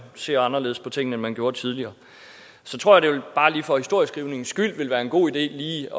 ser anderledes på tingene end man gjorde tidligere så tror jeg at det bare lige for historieskrivningens skyld vil være en god idé